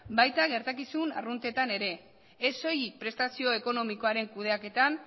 baita gertakizun arruntetan ere ez soilik prestazio ekonomikoaren kudeaketan